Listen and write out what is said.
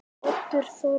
Oddur Þorri.